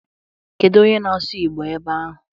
Kedu onye na-asụ Igbo ebe ahụ?